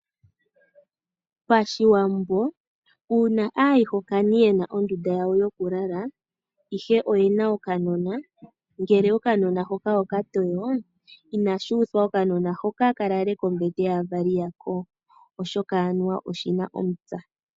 PaShiwambo, uuna aayihokani ye na ondunda yawo yokulala, ihe oye na okanona, ngele okanona hoka oka toyo, inashi uthwa okanona hoka ka lale kombete yaavali yako, oshoka anuwa oshi na omupya.